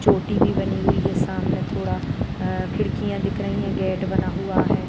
चोटी भी बनी हुई है सामने थोड़ा अ खिड़कियाँ दिख रही हैं गेट बना हुआ है।